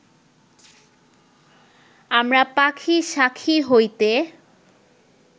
আমরা পাখী শাখী হইতে